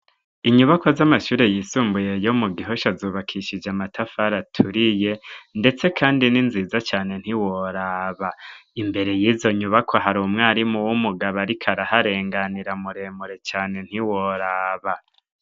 Inyubako z'amashure yisumbuye yo mu gihosho azubakishije amatafar aturiye, ndetse, kandi ni nziza cane ntiworaba imbere yizo nyubako hari umwarimu w'umugabo, ariko araharenganira muremure cane ntiworaba.